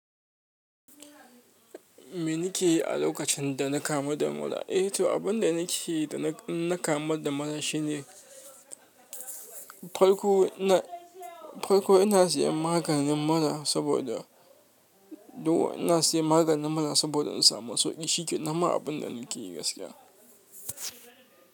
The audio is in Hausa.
Me nake yi a lokacin dana kamu da mura. Eh to, abin da nake yi da na kama da mura shine, farko ina, farko ina sayen maganin mura saboda, duka ina siyan maganin mura saboda in samu sauƙi. Shikenan ma abin da nake yi gaskiya.